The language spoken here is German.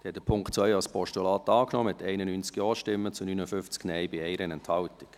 Sie haben den Punkt 2 als Postulat angenommen, mit 91 Ja- zu 59 Nein-Stimmen bei 1 Enthaltung.